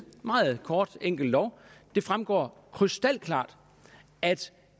meget kort og enkel lov det fremgår krystalklart at